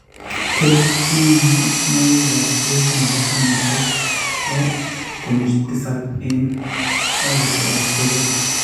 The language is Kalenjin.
keljinoikap peek nebo tanisiek 6.9 eng' ekarit age tugul.